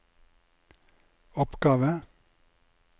oppgave